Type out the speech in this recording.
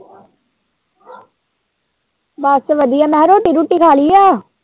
ਬਸ ਵਧੀਆ ਮੈਂ ਕਿਹਾ ਰੋਟੀ-ਰੂਟੀ ਖਾ ਲਈ ਏ।